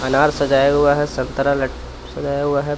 अनार सजाया हुआ है संतरा लट सजाया हुआ है.